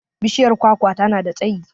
Bishiyar kwakwa ta na da tsayi.